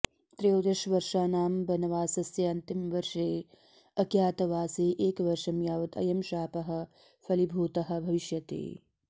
त्रयोदशवर्षाणां वनवासस्य अन्तिमे वर्षे अज्ञातवासे एकवर्षं यावत् अयं शापः फलीभूतः भविष्यति